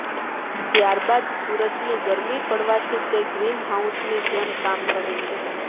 ત્યારબાદ સૂરજની ગરમી પડવાથી તે ગ્રીનહાઉસની જેમ કામ કરે છે